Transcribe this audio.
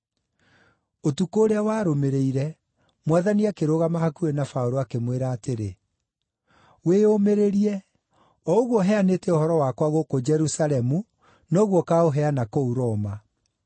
Ũtukũ ũrĩa warũmĩrĩire, Mwathani akĩrũgama hakuhĩ na Paũlũ, akĩmwĩra atĩrĩ, “Wĩyũmĩrĩrie! O ũguo ũheanĩte ũhoro wakwa gũkũ Jerusalemu, noguo ũkaũheana kũu Roma.”